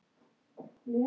Henni er ætlað að